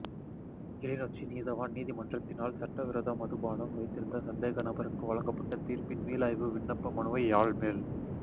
கிளிநொச்சி நீதவான் நீதிமன்றத்தினால் சட்டவிரோத மதுபானம் வைத்திருந்த சந்தேக நபருக்கு வழங்கப்பட்ட தீர்ப்பின் மீளாய்வு விண்ணப்ப மனுவை யாழ் மேல்